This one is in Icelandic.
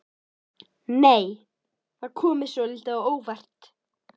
Nei! Það kom mér svolítið á óvart!